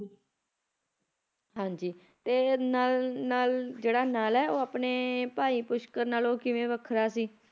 and